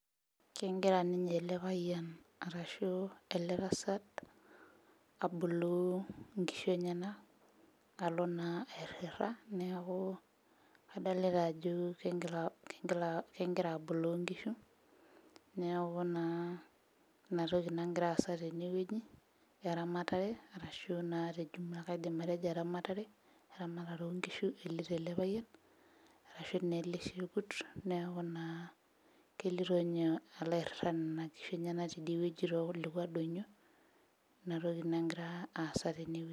Kengira ninye ele payian arashu ele tasat aboloo inkishu enyenak alo naa airrita neeku adolita ajo keng'ira aboloo inkishu neaku naa inatoki nagira aasa tenewueji eramatare arashu naa te jumla kaidim atejo eramatare, eramatare onkishu eloito ele payian arashu naa ele shekut neeku naa kelito inye alo airrita nena kishu enyenak tidie wueji tolekua donyio inatoki nangira aasa tene.